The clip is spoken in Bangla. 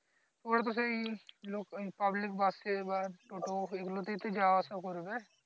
ওরা তো সেই লোক পাবলিক bus এ বা টোটো এগুলোতে ই তো যাওয়া আসা করবে